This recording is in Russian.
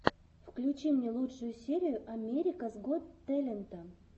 включи мне лучшую серию америкас гот тэлента